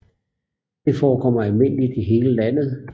Det forekommer almindeligt i hele landet